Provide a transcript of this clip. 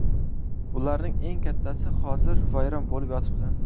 Ularning eng kattasi hozir vayron bo‘lib yotibdi.